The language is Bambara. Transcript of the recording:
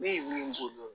Ne ye min k'o don